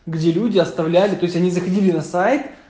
где люди оставляли то есть они заходили на сайт